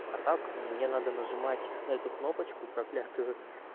а так мне надо нажимать на эту кнопочку проклятую